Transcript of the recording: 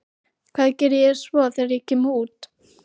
Hvað geri ég svo þegar ég kem út?